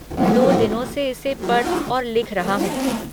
दो दिनों से इसे पढ़ और लिख रहा हूँ।